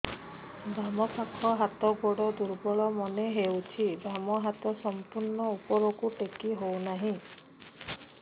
ବାମ ପାଖ ହାତ ଗୋଡ ଦୁର୍ବଳ ମନେ ହଉଛି ବାମ ହାତ ସମ୍ପୂର୍ଣ ଉପରକୁ ଟେକି ହଉ ନାହିଁ